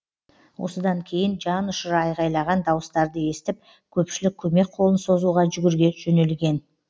осыдан кейін жан ұшыра айғайлаған дауыстарды естіп көпшілік көмек қолын созуға жүгіре жөнелген